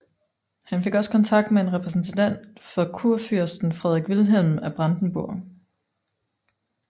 Han fik også kontakt med en repræsentant for kurfyrsten Frederik Wilhelm af Brandenburg